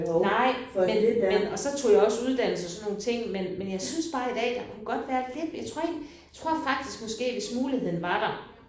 Nej. Men men og så tog jeg også uddannelse og sådan nogle ting men men jeg synes bare i dag der kunne godt være lidt ved jeg tror ikke jeg tror faktisk måske hvis muligheden var der